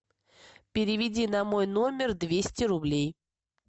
переведи на мой номер двести рублей